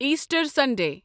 Easter Sunday